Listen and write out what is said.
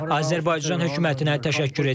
Azərbaycan hökumətinə təşəkkür edirəm.